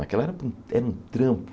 Naquela era um trampo.